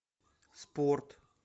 спорт